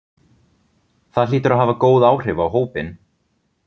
Það hlýtur að hafa góð áhrif á hópinn?